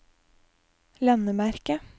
landemerke